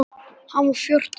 Hann var fjórtán ára.